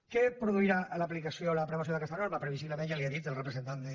què produirà l’aplicació o l’aprovació d’aquesta norma previsiblement ja li ha dit el representant de